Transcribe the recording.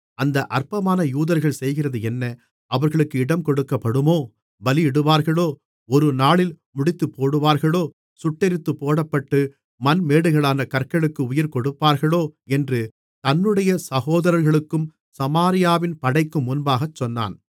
அந்த அற்பமான யூதர்கள் செய்கிறது என்ன அவர்களுக்கு இடங்கொடுக்கப்படுமோ பலியிடுவார்களோ ஒருநாளில் முடித்துப்போடுவார்களோ சுட்டெரித்துப் போடப்பட்டு மண்மேடுகளான கற்களுக்கு உயிர் கொடுப்பார்களோ என்று தன்னுடைய சகோதரர்களுக்கும் சமாரியாவின் படைக்கும் முன்பாகச் சொன்னான்